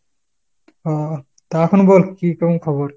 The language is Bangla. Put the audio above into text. ওহ, তা আখন বল কী কেমন খবর ?